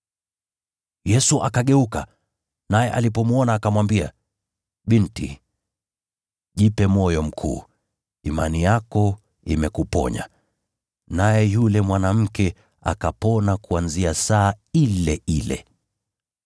Yesu akageuka, naye alipomwona akamwambia, “Binti, jipe moyo mkuu, imani yako imekuponya.” Naye yule mwanamke akapona kuanzia saa ile ile.